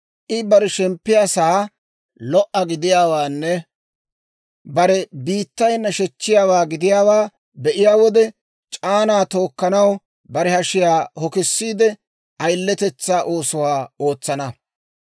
I bare shemppiyaasaa lo"a gidiyaawaanne bare biittay nashechiyaawaa gidiyaawaa be'iyaa wode, c'aanaa tookkanaw bare hashiyaa hokisiide, ayiletetsaa oosuwaa ootsana.